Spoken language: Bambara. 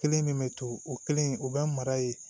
Kelen min bɛ to o kelen o bɛ mara yen